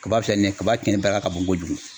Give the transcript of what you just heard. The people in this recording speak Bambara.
Kaba filɛ nin ye, kaba kɛn daga ka bon kojugu.